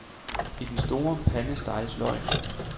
I den store pande steges løgene.